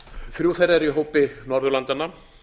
þrjú þeirra eru í hópi norðurlandanna